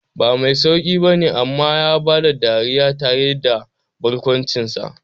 Ba mai sauqi bane amma ya bada dariya tare da barkwancinsa.